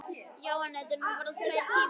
Já, en þetta eru nú bara tveir tímar.